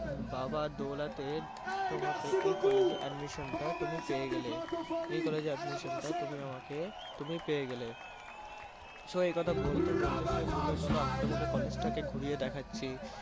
বাবার দৌলতে তোমাকে এই college এ admission টা তুমি পেয়ে গেলে । এই college এ admission টা তুমি আমাকে তুমি পেয়ে গেলে। so এই কথা বলতে বলতে সে বললো চলো আমি তোমাকে college টাকে ঘুরিয়ে দেখাচ্ছি।